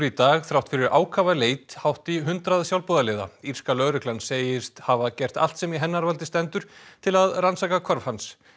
í dag þrátt fyrir ákafa leit hátt í hundrað sjálfboðaliða í írska lögreglan segist hafa gert allt sem í hennar valdi stendur til að rannsaka hvarf hans